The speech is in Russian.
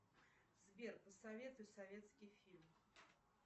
сбер посоветуй советский фильм